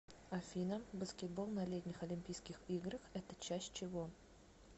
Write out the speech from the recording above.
афина баскетбол на летних олимпийских играх это часть чего